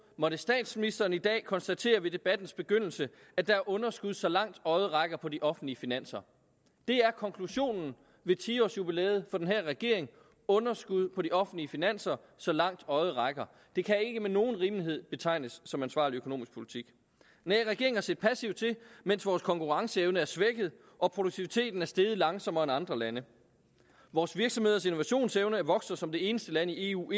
måtte statsministeren i dag konstatere ved debattens begyndelse at der er underskud så langt øjet rækker på de offentlige finanser det er konklusionen ved ti års jubilæet for den her regering underskud på de offentlige finanser så langt øjet rækker det kan ikke med nogen rimelighed betegnes som ansvarlig økonomisk politik nej regeringen har set passivt til mens vores konkurrenceevne er blevet svækket og produktiviteten er steget langsommere end i andre lande vores virksomheders innovationsevne er ikke vokset som det eneste land i eu